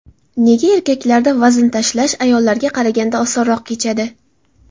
Nega erkaklarda vazn tashlash ayollarga qaraganda osonroq kechadi?.